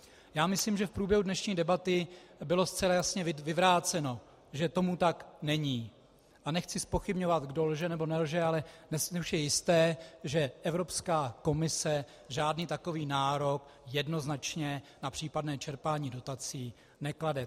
Já myslím, že v průběhu dnešní debaty bylo zcela jasně vyvráceno, že tomu tak není, a nechci zpochybňovat, kdo lže anebo nelže, ale dnes už je jisté, že Evropská komise žádný takový nárok jednoznačně na případné čerpání dotací neklade.